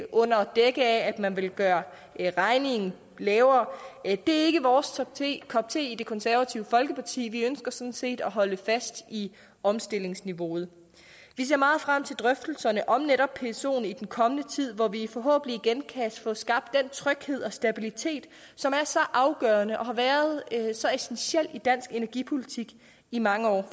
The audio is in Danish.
under dække af at man vil gøre regningen lavere det er ikke vores kop te i det konservative folkeparti vi ønsker sådan set at holde fast i omstillingsniveauet vi ser meget frem til drøftelserne om netop psoen i den kommende tid hvor vi forhåbentlig igen kan få skabt den tryghed og stabilitet som er så afgørende og har været så essentiel i dansk energipolitik i mange år